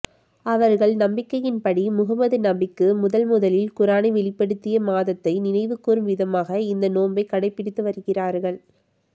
அவர்கள் நம்பிக்கையின்படி முகம்மது நபிக்கு முதன் முதலில் குரானை வெளிப்படுத்திய மாதத்தை நினைவுகூறும் விதமாக இந்த நோன்பை கடைபிடித்து வருகிறார்கள்